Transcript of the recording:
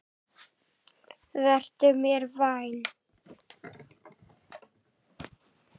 Vertu mér vænn.